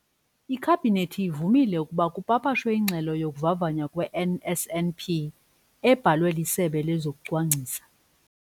iKhabhinethi ivumile ukuba kupapashwe iNgxelo yokuVavanywa kwe-NSNP, ebhalwe liSebe lezokuCwangcisa,